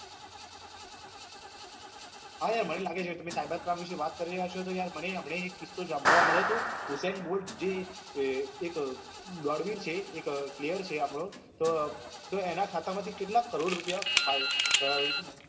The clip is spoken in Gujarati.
યા યાર મને લાગે છે તમે cyber crime વિષે તમે વાત કરી રહ્યા છો તો મને હમણાં એક કિસ્સો સાંભળવા મળ્યો હતો હુશેન ભૂષ જે એક એક clear છે આપડો તો તેના ખાતા માં થી કેટલા કરોડ રૂપિયા અ